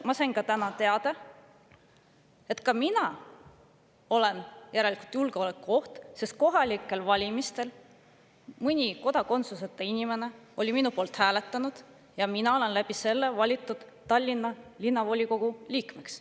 Ma sain täna teada, et ka mina olen järelikult julgeolekuoht, sest kohalikel valimistel oli mõni kodakondsuseta inimene minu poolt hääletanud ja mina olen valitud Tallinna Linnavolikogu liikmeks.